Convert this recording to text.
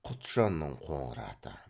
құтжанның қоңыр аты